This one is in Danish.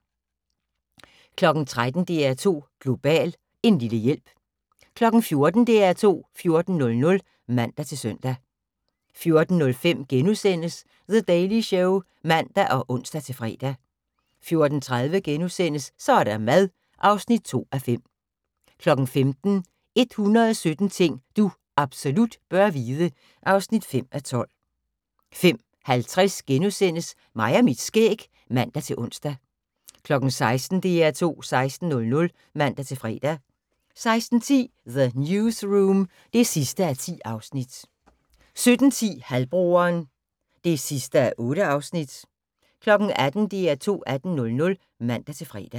13:00: DR2 Global: En lille hjælp 14:00: DR2 14.00 (man-søn) 14:05: The Daily Show *(man og ons-fre) 14:30: Så er der mad (2:5)* 15:00: 117 ting du absolut bør vide (5:12) 15:50: Mig og mit skæg *(man-ons) 16:00: DR2 16.00 (man-fre) 16:10: The Newsroom (10:10) 17:10: Halvbroderen (8:8) 18:00: DR2 18.00 (man-fre)